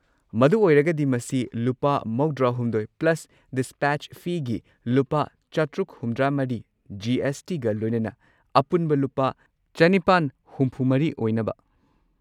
ꯃꯗꯨ ꯑꯣꯏꯔꯒꯗꯤ ꯃꯁꯤ ꯂꯨꯄꯥ ꯹꯳ + ꯗꯤꯁꯄꯦꯆ ꯐꯤꯒꯤ ꯂꯨꯄꯥ ꯶꯷꯴ ꯖꯤ. ꯑꯦꯁ. ꯇꯤ. ꯒ ꯂꯣꯏꯅꯅ ꯑꯄꯨꯟꯕ ꯂꯨꯄꯥ ꯸꯶꯴ ꯑꯣꯏꯅꯕ꯫